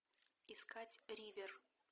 искать ривер